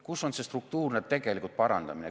Kus on see struktuurne tegelikult parandamine?